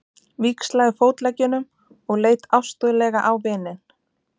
Víxlaði fótleggjunum og leit ástúðlega á vininn.